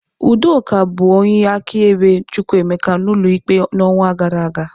Udoka bụ onye akaebe Chukwuemeka n'ụlọ ikpe n'ọnwa gara aga.